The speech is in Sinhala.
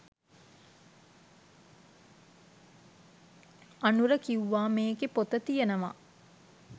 අනුර කිව්වා මේකේ පොත තියෙනවා